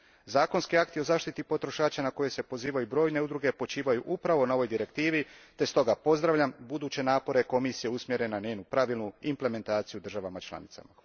Zakonski akti o zaštiti potrošača na koje se pozivaju brojne udruge počivaju upravo na ovoj Direktivi te stoga pozdravljam buduće napore Komisije usmjerene na njezinu pravilnu implementaciju u državama članicama.